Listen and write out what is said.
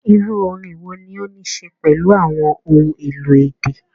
Iru orin wo ni o ni ṣe pelu awọn ohun-elo idẹ?